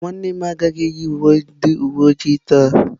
Nwannem agaghi eyi uwe ndi uwe ojii ya taa.